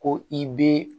Ko i bɛ